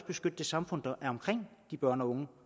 beskytte det samfund der er omkring de børn og unge